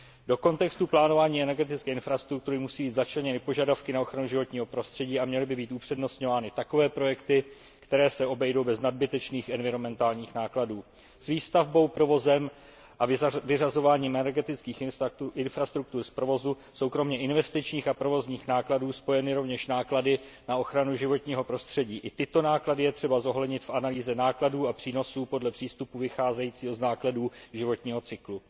Do kontextu plánování energetické infrastruktury musí být začleněny požadavky na ochranu životního prostředí a měly by být upřednostňovány takové projekty, které se obejdou bez nadbytečných environmentálních nákladů. S výstavbou, provozem a vyřazováním energetických infrastruktur z provozu jsou kromě investičních a provozních nákladů spojeny rovněž náklady na ochranu životního prostředí. I tyto náklady je třeba zohlednit v analýze nákladů a přínosů podle přístupu vycházejícího z nákladů životního cyklu.